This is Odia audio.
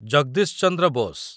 ଜଗଦୀଶ ଚନ୍ଦ୍ର ବୋସ୍